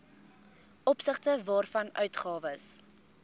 opsigte waarvan uitgawes